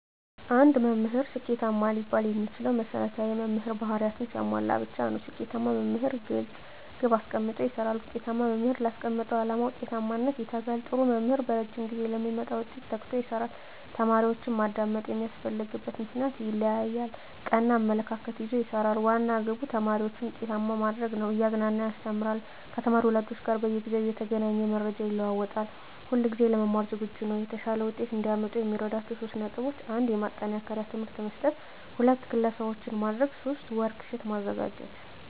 አንድ መምህር ስኬታማ ሊባል የሚችለው መሰረታዊ የመምህር በህሪያትን ሲያሟላ ብቻ ነው። ስኬታማ መምህር ግለፅ ግብ አሰቀምጦ ይሰራል፣ ውጤታማ መምህር ላስቀመጠው ዓላማ ውጤታማነት ይተጋል፣ ጥሩ መምህር በረጂም ጊዜ ለሚመጣ ውጤት ተግቶ ይሰራል፣ ተማሪዎችን ማዳመጥ የሚያስፈልግበትን ምክንያት ይለያል፣ ቀና አመለካከት ይዞ ይሰራል፤ ዋና ግቡ ተማሪዎችን ውጤታማ ማድረግ ነው፤ እያዝናና ያስተምራል፤ ከተማሪ ወላጆች ጋር በየጊዜው እየተገናኘ መረጃ ይለዋወጣል፣ ሁለጊዜ ለመማር ዝግጁ ነው። የተሻለ ውጤት እዲያመጡ የሚረዷቸው 3 ነጥቦች 1. ማጠናከሪያ ትምህርት መስጠት 2. ክለሣዎችን ማድረግ 3. ወርክ ሽት ማዘጋጀት